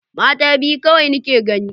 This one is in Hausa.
Mata biyu kawai nake gani.